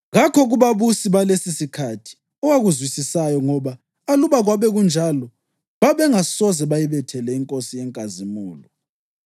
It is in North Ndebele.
Kakho kubabusi balesisikhathi owakuzwisisayo ngoba aluba kwakube njalo, babengasoze bayibethele iNkosi yenkazimulo.